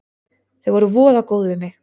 Þau voru voða góð við mig.